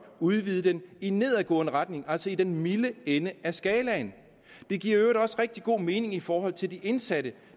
udvide den i nedadgående retning altså i den milde ende af skalaen det giver i øvrigt også rigtig god mening i forhold til de indsatte